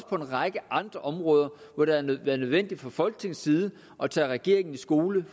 på en række andre områder hvor det været nødvendigt fra folketingets side at tage regeringen i skole